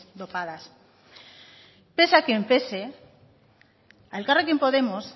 dopadas pese a quien pese a elkarrekin podemos